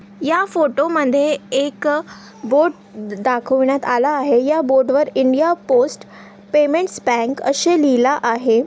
या फोटोमध्ये एक बोर्ड दाखवण्यात आला आहे या बोर्ड वर इंडिया पोस्ट पेमेंट्स बैंक असे लिहला आहे.